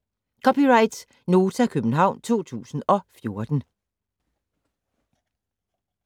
(c) Nota, København 2014